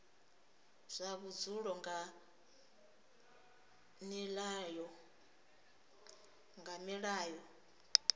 zwa vhudzulo nga nila yo